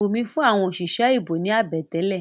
Bùnmí fún àwọn òṣìṣẹ́ ìbò ní àbẹ̀tẹ́lẹ̀.